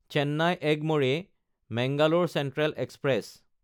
Chennai এগমৰে–মাংগালোৰ central express